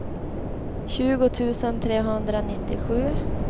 tjugo tusen trehundranittiosju